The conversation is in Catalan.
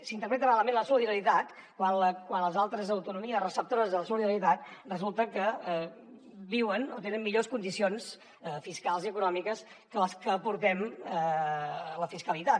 s’interpreta malament la solidaritat quan les altres autonomies receptores de la solidaritat resulta que viuen o tenen millors condicions fiscals i econòmiques que les que aportem la fiscalitat